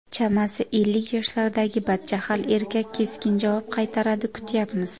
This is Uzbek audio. Chamasi, ellik yoshlardagi badjahl erkak keskin javob qaytaradi: kutyapmiz.